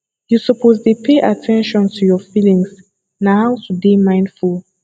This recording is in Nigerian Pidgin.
you suppose dey pay at ten tion to your feelings na how to dey mindful